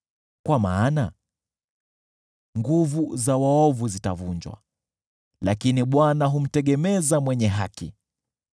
kwa maana nguvu za waovu zitavunjwa, lakini Bwana humtegemeza mwenye haki.